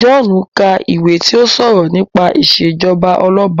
John ka iwè ti o sọrọ nípa ìṣèjọba Ọlọba.